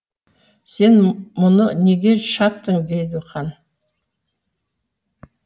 сен мұны неге шаптың дейді хан